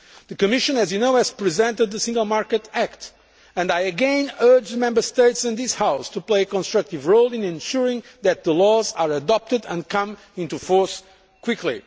The Commission, as you know, has presented the Single Market Act, and I again urge Member States and this House to play a constructive role in ensuring that the laws are adopted and come into force quickly.